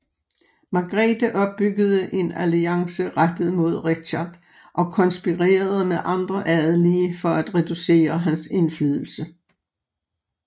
Margrete opbyggede en alliance rettet mod Richard og konspirerede med andre adelige for at reducere hans indflydelse